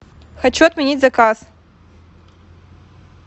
хочу отменить заказ